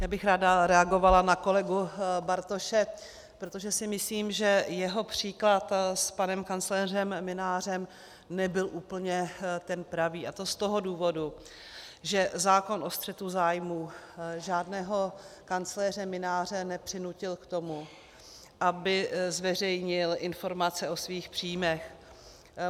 Já bych ráda reagovala na kolegu Bartoše, protože si myslím, že jeho příklad s panem kancléřem Mynářem nebyl úplně ten pravý, a to z toho důvodu, že zákon o střetu zájmů žádného kancléře Mynáře nepřinutil k tomu, aby zveřejnil informace o svých příjmech.